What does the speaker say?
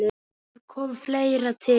Þar kom fleira til.